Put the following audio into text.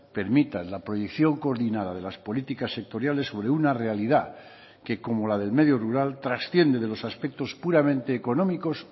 permitan la proyección coordinada de las políticas sectoriales sobre una realidad que como la del medio rural trasciende de los aspectos puramente económicos